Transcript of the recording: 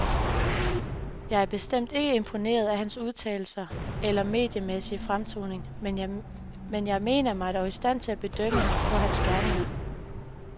Jeg er bestemt ikke imponeret af hans udtalelser eller mediemæssige fremtoning, men jeg mener mig dog i stand til at bedømme ham på hans gerninger.